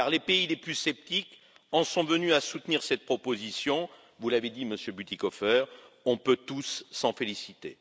Car les pays les plus sceptiques en sont venus à soutenir cette proposition, vous l'avez dit, Monsieur Bütikofer, nous pouvons tous nous en féliciter.